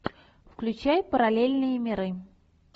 включай параллельные миры